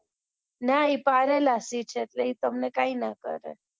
નાં એ પાળેલા સિંહ છે તો એ તમને કઈ નાં કરે